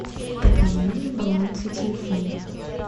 пополнение баланса телефона